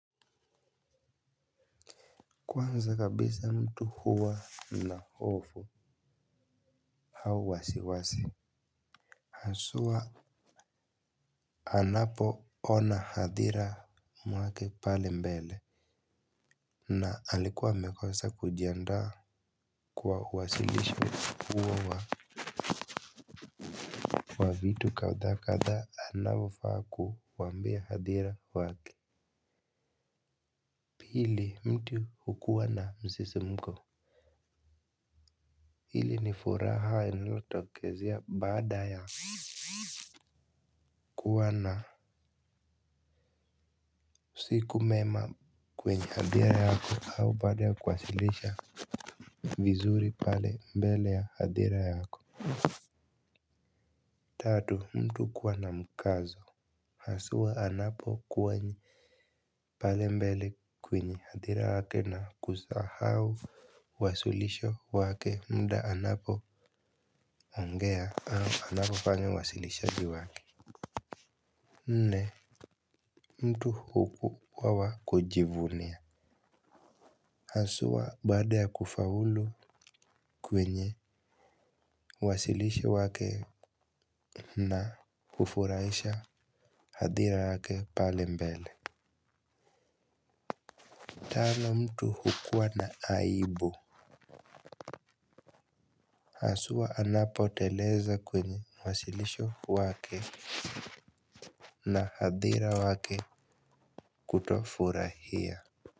Kwanza kabisa mtu huwa na hofu au wasiwasi. Haswa anapoona hadhira mwake pale mbele na alikuwa amekosa kujiandaa kwa uwasilisho huo wa wa vitu kadhaa kadhaa anavofaa kuwaambia hadhira wake. Pili mtu hukuwa na msisimko. Hili ni furaha inayotokezea baada ya kuwa na siku mema kwenye hadhira yako au baada ya kuwasilisha vizuri pale mbele ya hadhira yako. Tatu mtu kuwa na mkazo. Haswa anapokuwa pale mbele kwenye hadhira yake na kusahau wasilisho wake mda anapoongea au anavofanya uwasilishaji wake nne. Mtu hukuwa wa kujivunia haswa baada ya kufaulu kwenye wasilisho wake na hufuraisha hadhira yake pale mbele. Tano mtu hukua na aibu haswa anapoteleza kwenye wasilisho wake na hadhira wake kutofurahia.